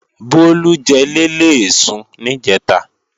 Bólú jẹ léléèsun níjẹ̀ta